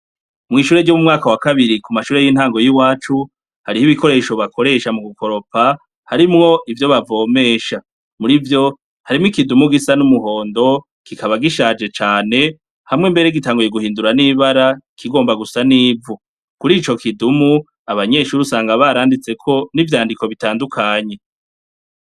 Mwishure ryo mu mwaka wakabiri kumashure yintango yiwacu hariho ibikoresho bakoresha mugukoropa harimwo ivyo bavomesha, murivyo harimwo ikidumu gisa n'umuhondo kikaba gishaje cane hamwe mbere gitanguye guhindura nibara kigomba gusa nivu, kurico kidumu abanyeshure usanga baranditseko nivyandiko bitandukanye.